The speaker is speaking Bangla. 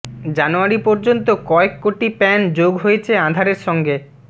জানুয়ারি পর্যন্ত কয়েক কোটি প্যান যোগ হয়েছে আধারের সঙ্গে